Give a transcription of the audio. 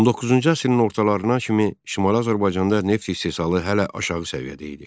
19-cu əsrin ortalarına kimi Şimali Azərbaycanda neft istehsalı hələ aşağı səviyyədə idi.